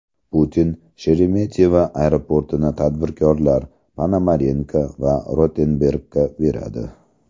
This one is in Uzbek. Putin Sheremetyevo aeroportini tadbirkorlar Ponomarenko va Rotenbergga beradi.